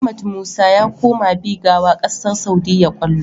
Ahmad musa ya koma bigawa ƙasar saudia kallo